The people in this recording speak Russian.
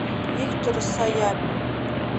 виктор саяпин